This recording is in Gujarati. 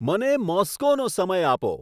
મને મોસ્કોનો સમય આપો